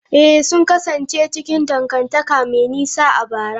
Ee, sun kasance cikin dangantaka mai nisa a bara.